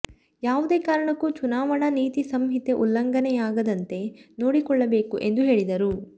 ಯಾವುದೇ ಕಾರಣಕ್ಕೂ ಚುನಾವಣಾ ನೀತಿ ಸಂಹಿತೆ ಉಲ್ಲಂಘನೆಯಾಗದಂತೆ ನೋಡಿಕೊಳ್ಳಬೇಕು ಎಂದು ಹೇಳಿದರು